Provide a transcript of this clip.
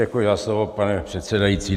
Děkuji za slovo, pane předsedající.